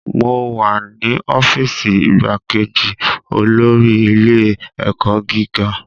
Mo wa ni ọfiisi igbakeji olori ile-ẹkọ giga